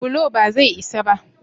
bulo ba zai isa ba?